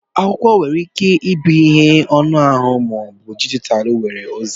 Akwụkwọ nwere ike ịbụ ihe anụ ahụ ma ọ bụ dijitalụ nwere ozi